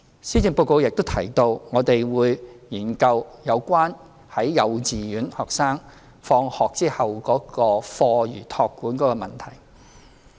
施政報告也提到，我們會研究有關幼稚園學生放學後課餘託管的問題。